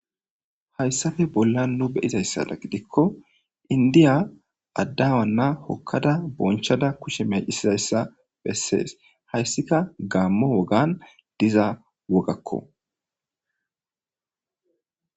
Hayssafe bolla nu be7izayssada gidikko indiya addiyawanna hokkada bonchada kushe meecisizayssa bessees. Hayssika gaammo wogan diza wogakko.